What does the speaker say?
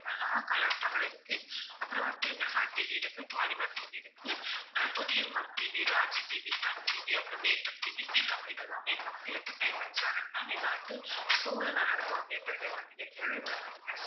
general ஆ Colors Tamil இருக்கு அப்புறம் வந்து மெகா டிவி இருக்கு பாலிமர் டிவி இருக்கு ஆஹ் Puthuyugam TV, Raj TV, Sun TV அப்புறம் வேந்தர் டிவி, ஜீ தமிழ் இதெல்லாமே இதுல வந்து entertainment channel ma'am இதுல வந்து show எல்லாம் நடத்துவாங்க entertainment நீங்க கேள்விப்பட்டிருப்பீங்க